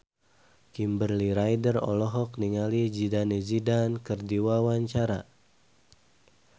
Kimberly Ryder olohok ningali Zidane Zidane keur diwawancara